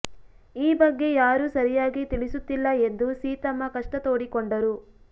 ಈ ಬಗ್ಗೆ ಯಾರೂ ಸರಿಯಾಗಿ ತಿಳಿಸುತ್ತಿಲ್ಲ ಎಂದು ಸೀತಮ್ಮ ಕಷ್ಟ ತೋಡಿಕೊಂಡರು